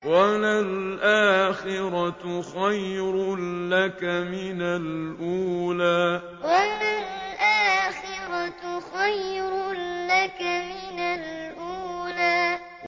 وَلَلْآخِرَةُ خَيْرٌ لَّكَ مِنَ الْأُولَىٰ وَلَلْآخِرَةُ خَيْرٌ لَّكَ مِنَ الْأُولَىٰ